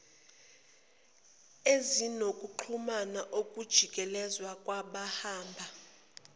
ezinokuxhumana ukujikeleza kwabahamba